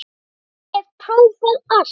Ég hef prófað allt!